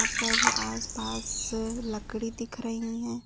यहाँ पर आसपास लकड़ी दिख रही है।